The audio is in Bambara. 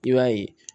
I b'a ye